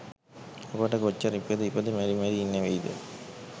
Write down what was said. අපට කොච්චර ඉපිද ඉපිද මැරි මැරි ඉන්න වෙයිද